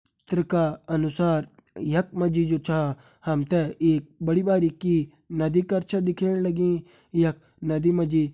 त्र का अनुसार यखमा जी जु छा हमते एक बड़ी भरी की नदी कर छ दिखेण लगीं यख नदी मा जी --